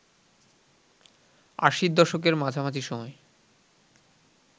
আশির দশকের মাঝামাঝি সময়